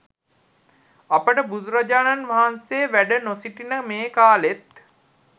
අපට බුදුරජාණන් වහන්සේ වැඩ නො සිටින මේ කාලෙත්